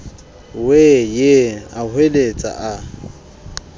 wee ee a hweletsa a